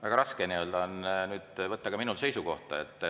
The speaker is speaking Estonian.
Väga raske on ka minul seisukohta võtta.